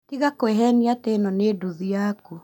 Tiga kwĩhenĩa atĩ ino nĩ nduthi yaku